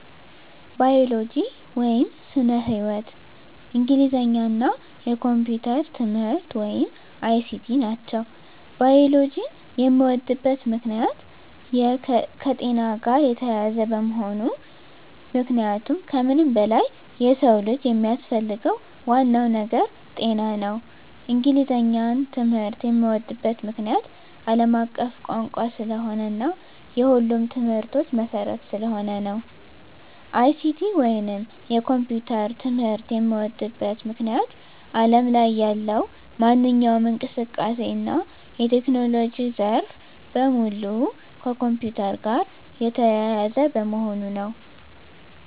ባዮሎጂ (ስነ-ህይዎት)፣ እንግሊዘኛ እና የኮምፒዩተር ትምህርት(ICT) ናቸው። ባዮሎጂን የምወድበት ምክንያት - የከጤና ጋር የተያያዘ በመሆኑ ምክንያቱም ከምንም በላይ የሰው ልጅ የሚያስፈልገው ዋናው ነገር ጤና ነው። እንግሊዘኛን ትምህርት የምዎድበት ምክንያት - አለም አቀፍ ቋንቋ ስለሆነ እና የሁሉም ትምህርቶች መሰረት ስለሆነ ነው። ICT ወይንም የኮምፒውተር ትምህርት የምዎድበት ምክንያት አለም ላይ ያለው ማንኛውም እንቅስቃሴ እና የቴክኖሎጂ ዘርፍ በሙሉ ከኮምፒውተር ጋር የተያያዘ በመሆኑ ነው።